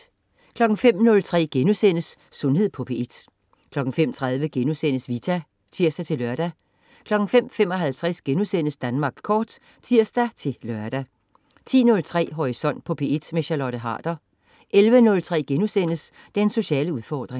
05.03 Sundhed på P1* 05.30 Vita* (tirs-lør) 05.55 Danmark Kort* (tirs-lør) 10.03 Horisont på P1. Charlotte Harder 11.03 Den sociale udfordring*